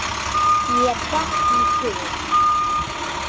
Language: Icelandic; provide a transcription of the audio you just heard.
Mér datt í hug.